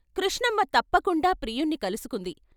కృష్ణమ్మ తప్పకుండా ప్రియుణ్ణి కలుసుకుంది.